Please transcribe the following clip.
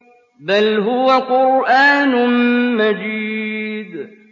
بَلْ هُوَ قُرْآنٌ مَّجِيدٌ